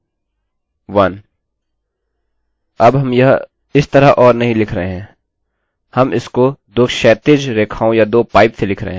अब हम यह इस तरह or नहीं लिख रहे हैं हम इसको दो क्षैतिज रेखाओं या दो पाइप से लिख रहे हैं